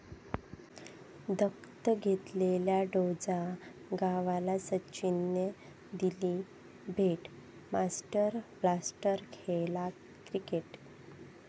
दत्तक घेतलेल्या डोंजा गावाला सचिननं दिली भेट, 'मास्टर ब्लास्टर' खेळला क्रिकेट